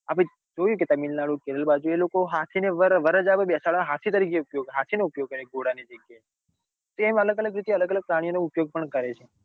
આપડે જોયું કે તામિલનાડુ કે કેરળ બાજુ એ લોકો હાથી ને વરરાજા ને બેસાડવા હાથી તરીને હાથી નો ઉપયોગ કરે ઘોડા ની જગાય તે એમ અલગ અલગ રીતે અલગ અલગ પ્રાણીઓ નો ઉપયોગ ભી કરે છે.